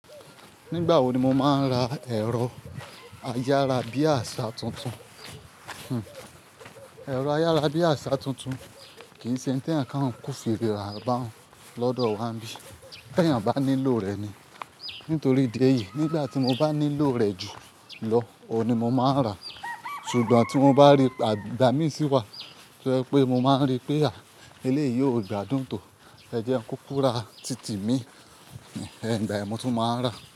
Nígbà wo ni mo máa ń ra ẹ̀rọ ayára bí àṣà tuntun? Ẹ̀rọ ayára bí àṣà tuntun kì ń ṣe hún tẹ yàn kan kún fèrè rà bá ọ̀ún lọ́dọ̀ wa ńbí, tè èyàn bá nílò rẹ̀ ni. Nítorí idi èyí nígbà tí mo bá nílò rẹ̀ jù lọ, òun ni mo máa rà á. Sugbọn tí mo bá rí, igbà mi sí wá, tó yẹ́ pé mo máa ń rí pé eléèyì ó gbádùn tó, ẹ jẹ́ ń kú kura títì mi, igbà yẹn mò tún máa ń rà á.